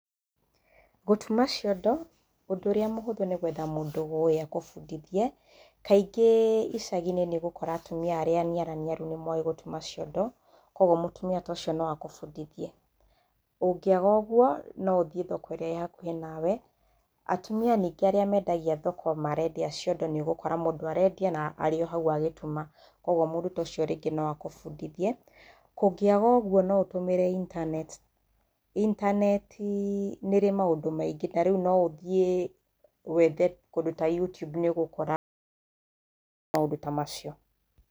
Gũtuma ciondo, ũndũ ũrĩa mũhuthu nĩ gwetha mũndũ ũĩ agũbundithie. Kaingĩ icagi-inĩ nĩũgũkora atumia arĩa aniaraniaru nĩ moĩ gũtuma ciondo, kũoguo mũtumia ta ũcio no agũbundithie. Ũngĩaga ũguo no ũthiĩ thoko ĩrĩa ĩ hakuhĩ nawe. Atumia ningĩ arĩa mendagia thoko marendia ciondo nĩũgũkora mũndũ arendia na arĩ o hau agĩtuma, kwoguo mũndũ ta ũcio rĩngĩ no agũbundithie. Kũngĩaga ũguo no ũtũmĩre intaneti. Itaneetii nĩrĩ maũndũ maingĩ, tarĩu no ũthiĩ wethe kũndũ ta YouTube nĩũgũkora maũndũ ta macio.